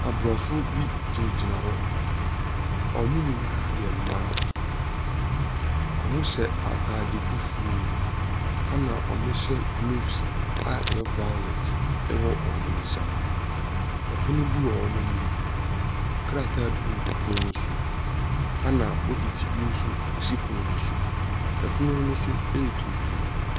Abrɔfo bi gyina gyina hɔ. Ɔmo nyinaa yɛ mmaa. Ɔmo hyɛ ataade fufuo. Ɛna ɔmo hyɛ glofs a ɛyɛ vaolɛt ɛwɔ ɔmo nsa. Ɛpono bi wɔ ɔmo anim. Krataa bi gugu pon no so. Ɛna bokiti bi nso esi pon no so. Ɛpono no so ɛyɛ tuntum.